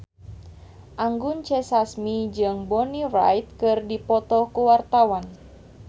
Anggun C. Sasmi jeung Bonnie Wright keur dipoto ku wartawan